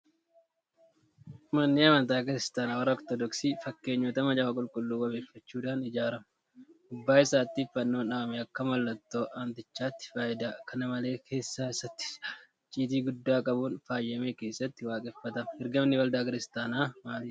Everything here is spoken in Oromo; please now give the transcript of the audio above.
Manni amantaa Kiristaanaa warra Ortodoksii fakkeenyota macaafa qulqulluu wabeeffachuudhaan ijaarama. Gubbaa isaattis Fannoon dhaabamee akka mallattoo amantichaatti fayyada. Kana malees keessa isaatti ijaarsa icciitii guddaa qabuun faayamee kaassatti waaqeffatama. Ergamni waldaa Kiristaanaa maalidha?